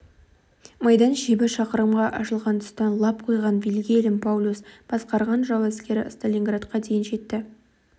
майдан шебі шақырымға ашылған тұстан лап қойған вильгельм паулюс басқарған жау әскері сталинградқа дейін жетті